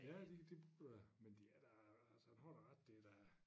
Ja det det øh men de er da altså han har da ret det da